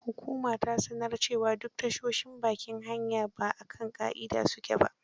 Hukuma ta sanar cewa duk tashoshin bakin hanya ba a kan ƙa'ida su ke ba.